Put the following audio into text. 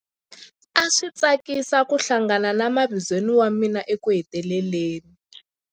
A swi tsakisa ku hlangana na mavizweni wa mina ekuheteleleni.